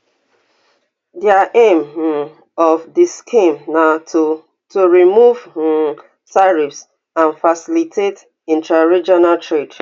di aim um of di scheme na to to remove um tariffs and facilitate intraregional trade